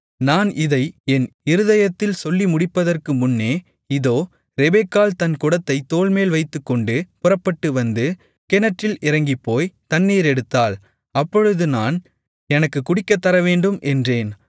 நான் இதை என் இருதயத்தில் சொல்லி முடிப்பதற்குமுன்னே இதோ ரெபெக்காள் தன் குடத்தைத் தோள்மேல் வைத்துக்கொண்டு புறப்பட்டுவந்து கிணற்றில் இறங்கிப்போய்த் தண்ணீர் எடுத்தாள் அப்பொழுது நான் எனக்குக் குடிக்கத்தரவேண்டும் என்றேன்